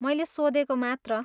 मैले सोधेको मात्र।